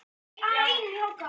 Marí, hvernig er dagskráin?